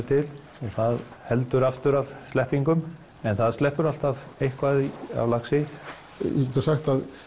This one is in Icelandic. til og það heldur aftur af sleppingum en það sleppur alltaf eitthvað af laxi við getum sagt að